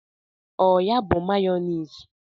Ọ ya bụ mayọniisi?